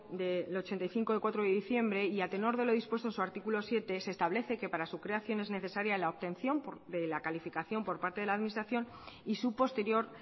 del ochenta y cinco de cuatro de diciembre y a tenor de lo dispuesto en su artículo siete se establece que para su creación es necesaria la obtención de la calificación por parte de la administración y su posterior